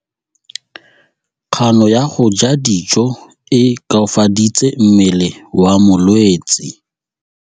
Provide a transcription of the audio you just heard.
Kganô ya go ja dijo e koafaditse mmele wa molwetse.